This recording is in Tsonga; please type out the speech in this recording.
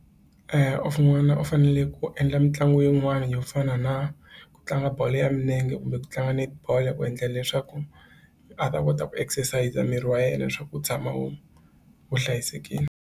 n'wana u fanele ku endla mitlangu yin'wani yo fana na ku tlanga bolo ya milenge kumbe ku tlanga netball ku endlela leswaku a ta kota ku exercise a miri wa yena leswaku wu tshama u wu hlayisekile.